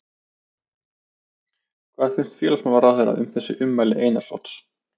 Hvað finnst félagsmálaráðherra um þessi ummæli Einars Odds?